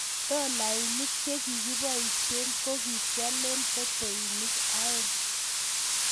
Dolainik che kikipoishee ko kikialee peteinik aeng